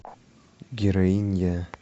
героиня